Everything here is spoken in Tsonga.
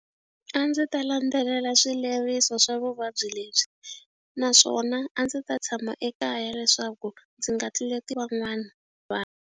A ndzi ta landzelela swileriso swa vuvabyi lebyi naswona a ndzi ta tshama ekaya leswaku ndzi nga tluleti van'wana vanhu.